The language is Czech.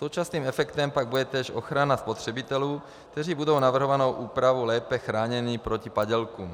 Současným efektem pak bude též ochrana spotřebitelů, kteří budou navrhovanou úpravou lépe chráněni proti padělkům.